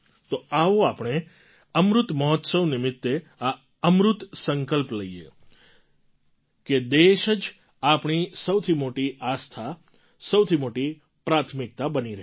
તો આવો આપણે અમૃત મહોત્સવ નિમિત્તે આ અમૃત સંકલ્પ લઈએ કે દેશ જ આપણી સૌથી મોટી આસ્થા સૌથી મોટી પ્રાથમિકતા બની રહેશે